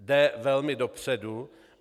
Jde velmi dopředu.